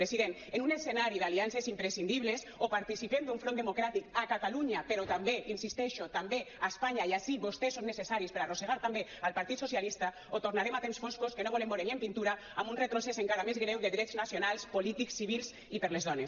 president en un escenari d’aliances imprescindibles o participem d’un front democràtic a catalunya però també hi insisteixo també a espanya i ací vostès són necessaris per arrossegar també el partit socialista o tornarem a temps foscos que no volem veure ni en pintura amb un retrocés encara més greu de drets nacionals polítics civils i per a les dones